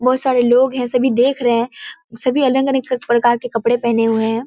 बहुत सारे लोग हैं सभी देख रहें हैं सभी अलग-अलग प्रकार के कपड़े पहने हुए हैं।